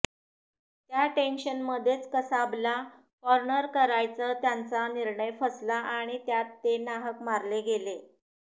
त्या टेन्शनमध्येच कसाबला कॉर्नर करायचा त्यांचा निर्णय फसला आणि त्यात ते नाहक मारले गेले